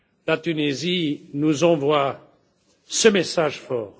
la Tunisie nous envoie ce message fort.